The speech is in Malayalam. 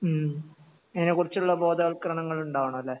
ഉം അതിനെ കുറിച്ചുള്ള ബോധവൽക്കരണങ്ങൾ ഉണ്ടാവണം അല്ലെ